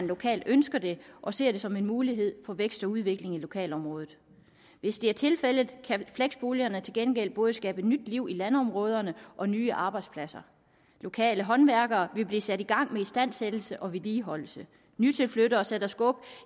lokalt ønsker det og ser det som en mulighed for vækst og udvikling i lokalområdet hvis det er tilfældet kan fleksboligerne til gengæld både skabe nyt liv i landområderne og nye arbejdspladser lokale håndværkere vil blive sat i gang med istandsættelse og vedligeholdelse nye tilflyttere sætter skub